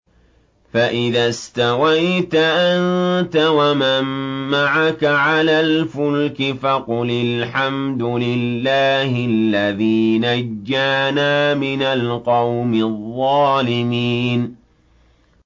فَإِذَا اسْتَوَيْتَ أَنتَ وَمَن مَّعَكَ عَلَى الْفُلْكِ فَقُلِ الْحَمْدُ لِلَّهِ الَّذِي نَجَّانَا مِنَ الْقَوْمِ الظَّالِمِينَ